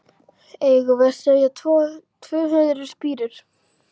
Eigum við að segja tvö hundruð spírur?